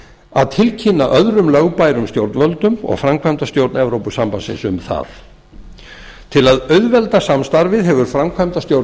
að tilkynna öðrum lögbærum stjórnvöldum og framkvæmdastjórn evrópusambandsins um það til að auðvelda samstarfið hefur